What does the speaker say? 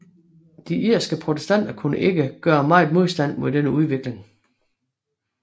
De irske protestanter kunne ikke gøre meget modstand mod denne udvikling